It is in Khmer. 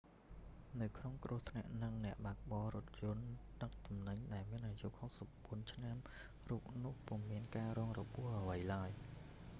នៅក្នុងគ្រោះថ្នាក់ហ្នឹង អ្នកបើកបររថយន្តដឹកទំនិញដែលមានអាយុ 64 ឆ្នាំរូបនោះពុំមានការរងរបួសអ្វីឡើយ